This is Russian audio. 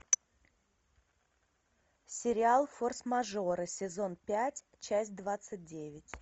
сериал форс мажоры сезон пять часть двадцать девять